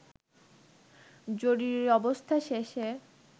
জরুরি অবস্থা শেষে